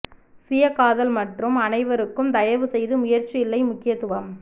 சுய காதல் மற்றும் அனைவருக்கும் தயவு செய்து முயற்சி இல்லை முக்கியத்துவம்